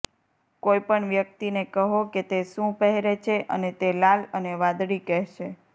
કોઈ પણ વ્યક્તિને કહો કે તે શું પહેરે છે અને તે લાલ અને વાદળી કહેશે